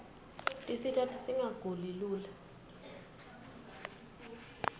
tisita singaguli lula